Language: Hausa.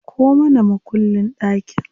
Dauko mana mukullin ɗakin.